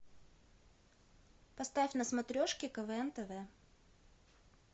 поставь на смотрешке квн тв